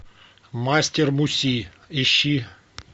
мастер муси ищи